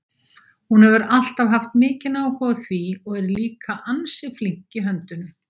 Hún hefur alltaf haft mikinn áhuga á því og er líka ansi flink í höndunum.